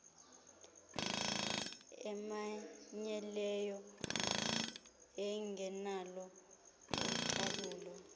emanyeneyo engenalo ucalulo